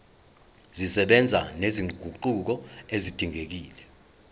zisebenza nezinguquko ezidingekile